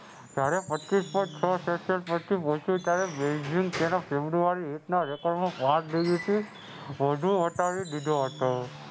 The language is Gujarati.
તારે પચીસ point છ celsius ફેબ્રુઆરી